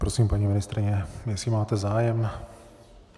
Prosím, paní ministryně, jestli máte zájem.